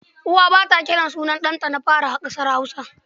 Uwa ba ta kiran sunan ɗanta na fari a ƙasar Hausa.